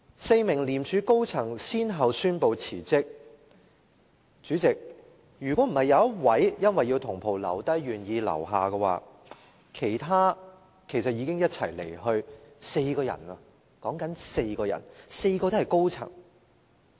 四名廉署高層人員先後宣布辭職，主席，如果不是有一位因為要同袍留低而願意留下，其實已經一起離任，是4個人，而且4個皆是高層人員。